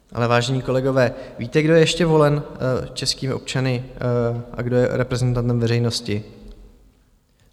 Ale vážení kolegové, víte, kdo je ještě volen českými občany a kdo je reprezentantem veřejnosti?